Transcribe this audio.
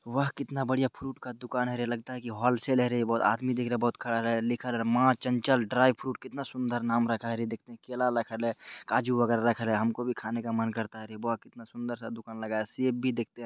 वाह कितना बढ़िया फ्रूट का दुकान है रे लगता है की होलसेलर है| वो आदमी देखा बहुत खड़े रेगा लिखा माँ चचल ड्राई फ्रूट कितना सुन्दर नाम रखा है रे| देख ते की केला रखल है काजू वगेरा रखे है हमको भी खाने का मन करता है रे| वाह कितना सुन्दर-सा दुकान लगाया सेब भी दिखते हैं।